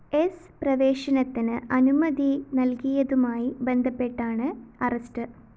സ്‌ പ്രവേശനത്തിന് അനുമതി നൽകിയതുമായി ബന്ധപ്പെട്ടാണ് അറസ്റ്റ്‌